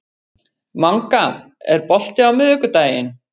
Manga, er bolti á miðvikudaginn?